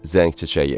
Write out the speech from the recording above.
Zəng çiçəyi.